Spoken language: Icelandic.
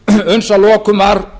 uns að lokum var